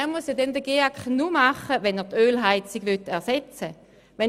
Er muss den GEAK nur machen, wenn er die Ölheizung ersetzen will.